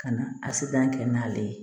Ka na a si ban kɛ n'ale ye